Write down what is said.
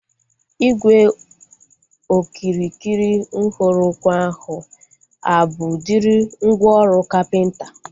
Ígwè okirikiri nhọrọ ukwu ahu a bụ udiri mgwooru kapịnta?